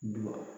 Dun